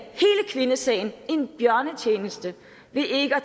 kvindesagen en bjørnetjeneste ved ikke at